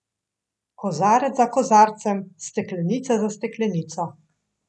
Kozarec za kozarcem, steklenica za steklenico.